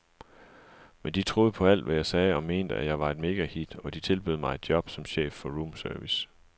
Men de troede på alt, hvad jeg sagde og mente, at jeg var et megahit, og de tilbød mig et job som chef for roomservice.